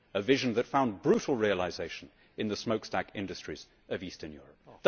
A vision that found brutal realisation in the smokestack industries of Eastern Europe.